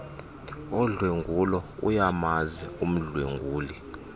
odlwengulo ayamazi umdlwenguli